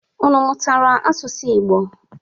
Unu mụtara asụsụ Igbo?